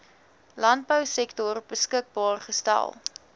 landbousektor beskikbaar gestel